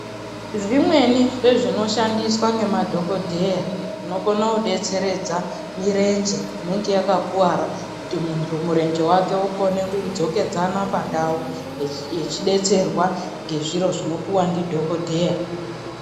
Zvimweni zvezvinoshandiswa nemadhokodheya zvinokone kudetseredza mirenje inenge yakakuwara kuti muntu murenje wake ukone kudzokedzana pandau echidetserwa ngezviro zvinopuwa ndidhokodheya.